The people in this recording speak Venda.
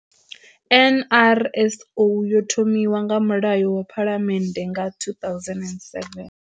NRSO yo thomiwa nga Mulayo wa Phalamennde nga 2007.